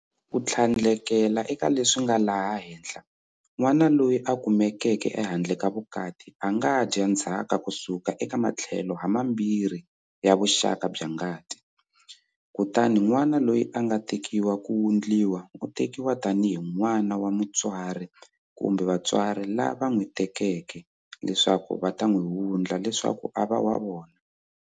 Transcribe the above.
Ku tlhandlekela eka leswi nga laha henhla, n'wana loyi a kumekeke ehandle ka vukati a nga dya ndzhaka ku suka eka matlhelo hamambirhi ya vuxaka bya ngati, kutani n'wana loyi a nga tekiwa ku ta wundliwa u tekiwa tanihi n'wana wa mutswari kumbe vatswari lava n'wi tekeke leswaku va ta n'wi wundla leswaku a va wa vona.